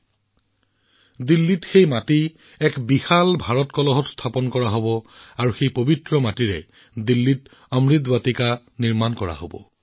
ইয়াত দিল্লীত সেই মাটি এটা বিশাল ভাৰত কলহত ৰখা হব আৰু এই পবিত্ৰ মাটিৰে দিল্লীত অমৃত বাটিকা নিৰ্মাণ কৰা হব